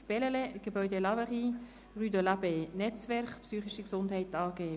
«Bellelay, Gebäude ‹Laverie›, Rue de l’Abbaye 2m, Netzwerk Psychische Gesundheit AG.